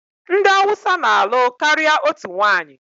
Ndị Hausa na-alụ karịa otu nwanyị.